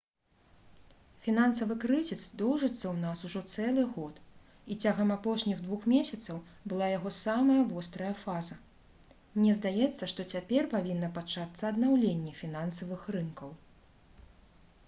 «фінансавы крызіс доўжыцца ў нас ужо цэлы год і цягам апошніх двух месяцаў была яго самая вострая фаза. мне здаецца што цяпер павінна пачацца аднаўленне фінансавых рынкаў»